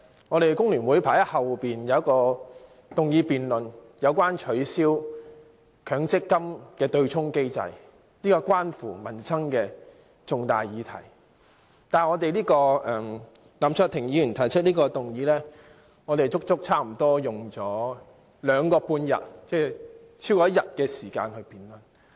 我們工聯會排在後面有一項有關取消強積金對沖機制的議案辯論，是關乎民生的重大議題，但林卓廷議員提出的議案差不多花了兩個半天，即超過1天時間辯論。